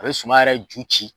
A be suman yɛrɛ ju ci